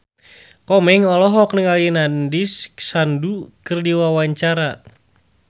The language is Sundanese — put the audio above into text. Komeng olohok ningali Nandish Sandhu keur diwawancara